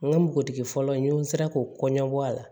N ka npogotigi fɔlɔ in n'o sera k'o kɔɲɔbɔ a la